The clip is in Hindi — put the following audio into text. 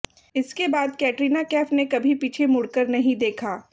इसके बाद कैटरीना कैफ ने कभी पीछे मुड़कर नहीं देखा